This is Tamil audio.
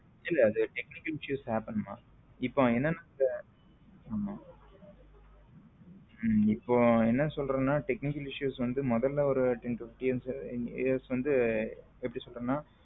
இல்ல அது technical issues happen மா இப்போ என்னன்னா ஆமா இப்போ என்ன சொல்றதுன்னா technical issues வந்து முதலில் ten years வந்து.